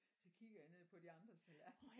Så kigger jeg ned på de andres tallerkener